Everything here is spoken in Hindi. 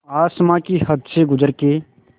आसमां की हद से गुज़र के